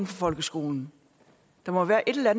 for folkeskolen der må være et eller